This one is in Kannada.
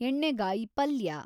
ಎಣ್ಣೆಗಾಯಿ ಪಲ್ಯ